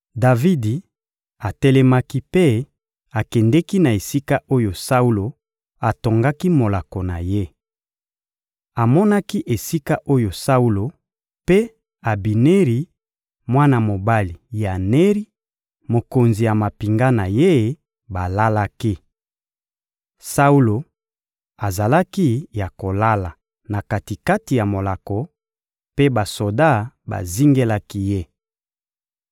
Davidi atelemaki mpe akendeki na esika oyo Saulo atongaki molako na ye. Amonaki esika oyo Saulo mpe Abineri, mwana mobali ya Neri, mokonzi ya mampinga na ye, balalaki. Saulo azalaki ya kolala na kati-kati ya molako, mpe basoda bazingelaki ye.